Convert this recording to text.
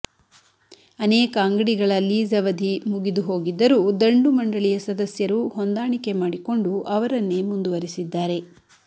ಅನೇಕ ಅಂಗಡಿಗಳ ಲೀಜ್ ಅವಧಿ ಮುಗಿದುಹೋಗಿದ್ದರೂ ದಂಡುಮಂಡಳಿಯ ಸದಸ್ಯರು ಹೊಂದಾಣಿಕೆ ಮಾಡಿಕೊಂಡು ಅವರನ್ನೇ ಮುಂದುವರೆಸಿದ್ದಾರೆ